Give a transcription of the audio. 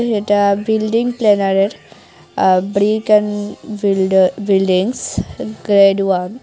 এটা বিল্ডিং প্ল্যানারের ah brick and buildings grade one.